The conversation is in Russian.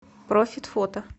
профит фото